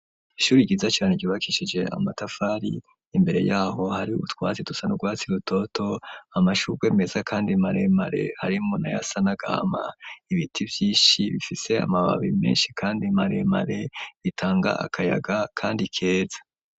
Ishuri ryiza cane ryubakishije amatafari imbere yaho hari ubutwatsi dusa n'urwatsi rutoto amashurwe meza kandi mare mare arimwo nayasa nagahama ibiti vyinshi bifise amababi menshi kandi mare mare bitanga akayaga kandi keza.